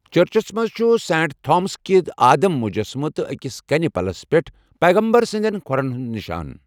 چرچَس منٛز چھُ سینٹ تھامسُنقدِ آدم مجسمہٕ تہٕ أکِس کَنہِ پلَس پٮ۪ٹھ پیغمبر سِنٛدِین کھۄرَن ہُنٛد نشان۔